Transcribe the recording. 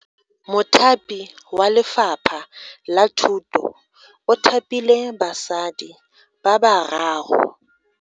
Mothapi wa Lefapha la Thuto o thapile basadi ba bararo.